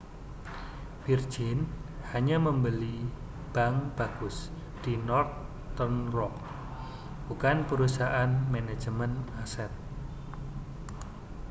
virgin hanya membeli bank bagus' di northern rock bukan perusahaan manajemen aset